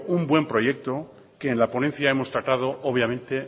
un buen proyecto que en la ponencia hemos tratado obviamente